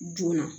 Joona